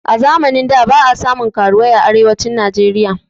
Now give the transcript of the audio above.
A zamanin da ba a samun karuwai a arewacin najeriya